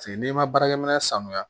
n'i ma baarakɛ minɛ sanuya